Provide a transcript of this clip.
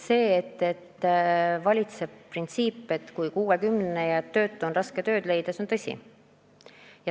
See, et kui oled kuuekümnene ja töötu, siis on raske tööd leida, on tõsi.